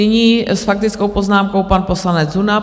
Nyní s faktickou poznámkou pan poslanec Zuna.